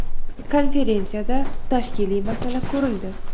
Konferensiyada tashkiliy masala ko‘rildi.